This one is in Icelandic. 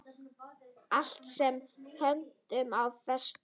Allt sem hönd á festir.